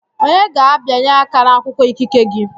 Onye ga-abịanye aka n'akwụkwọ ikike gị?